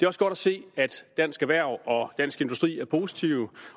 også godt at se at dansk erhverv og dansk industri er positive